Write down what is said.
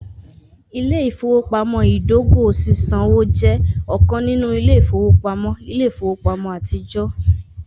Ile-ifowopamọ idogo sisanwo jẹ ọkan ninu ile-ifowopamọ ile-ifowopamọ atijọ.